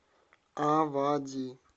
авади